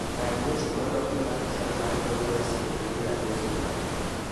Rang weche moloki mar chal mar kor lwasi epiny lagos juma ni